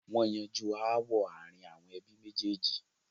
wọ́n yanjú ááwọ̀ ààrin ẹbí méjèèjì.